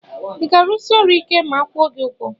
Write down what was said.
Iga arụsi ọrụ ike ma akwụọ gi ugwọ?